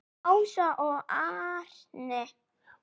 Ása og Árni.